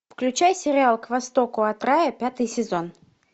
включай сериал к востоку от рая пятый сезон